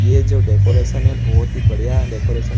ये जो डेकोरेशन है बहोत ही बढ़िया हैडेकोरेशन --